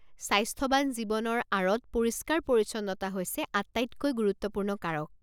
স্বাস্থ্যৱান জীৱনৰ আঁৰত পৰিষ্কাৰ পৰিচ্ছন্নতা হৈছে আটাইতকৈ গুৰুত্বপূৰ্ণ কাৰক।